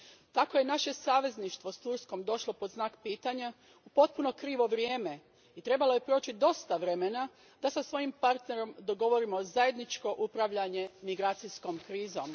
Tako je naše savezništvo s Turskom došlo pod znak pitanja u potpuno krivo vrijeme i trebalo je proći dosta vremena da sa svojim partnerom dogovorimo zajedničko upravljanje migracijskom krizom.